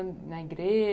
Na igreja?